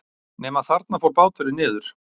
Nema þarna fór báturinn niður.